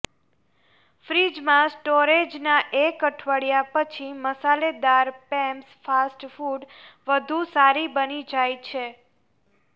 ફ્રિજમાં સ્ટોરેજના એક અઠવાડિયા પછી મસાલેદાર પૅબ્સ ફાસ્ટ ફૂડ વધુ સારી બની જાય છે